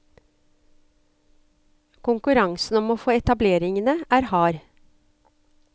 Konkurransen om å få etableringene er hard.